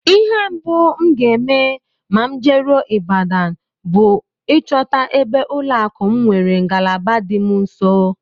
Ihe mbụ m ga-eme ma m jeruo Ibadan bụ ịchọta ebe ụlọakụ m nwere ngalaba dị m nso